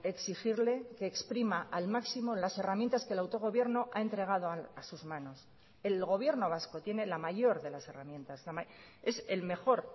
exigirle que exprima al máximo las herramientas que el autogobierno ha entregado a sus manos el gobierno vasco tiene la mayor de las herramientas es el mejor